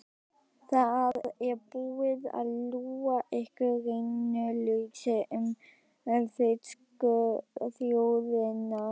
Það er búið að ljúga ykkur rænulausa um þýsku þjóðina.